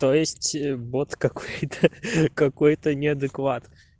то есть бот какой-то какой-то неадекват